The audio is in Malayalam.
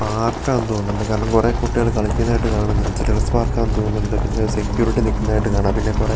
പാർക്കാന്ന് തോന്നുന്നുണ്ട് കാരണം കുറെ കുട്ടികള് കളിക്കുന്നെയായിട്ട് കാണുന്നുണ്ട് ചിൽഡ്രൻസ് പാർക്കാന്ന് തോന്നുന്നുണ്ട് പിന്നെ സെക്യൂരിറ്റി നിക്കുന്നെയായിട്ട് കാണാം പിന്നെ കുറേ --